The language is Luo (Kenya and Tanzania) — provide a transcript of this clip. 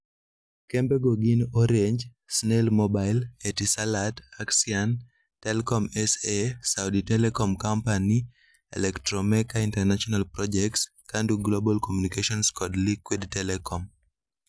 Kembego gin Orange, Snail Mobile, Etisalat, Axian, Telkom SA, Saudi Telecom Company, Electromecha International Projects, Kandu Global Communications kod Liquid Telecom.